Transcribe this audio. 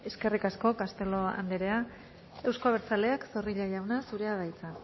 eskerrik asko castelo andrea eusko abertzaleak zorrilla jauna zurea da hitza